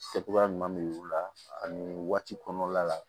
Kɛ cogoya ɲuman bɛ u la ani waati kɔnɔna la